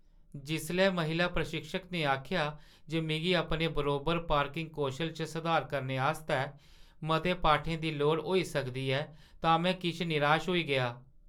जिसलै महिला प्रशिक्षक ने आखेआ जे मिगी अपने बरोबर पार्किंग कौशल च सधार करने आस्तै मते पाठें दी लोड़ होई सकदी ऐ तां में किश निराश होई गेआ।